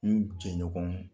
N jɛ ɲɔgɔnw